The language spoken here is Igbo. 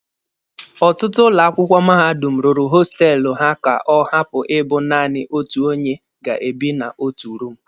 Ọtụtụ ụlọ akwụkwọ mahadum rụrụ hostelụ ha ka ọ hapụ ịbụ naanị otu onye ga-ebi na otu room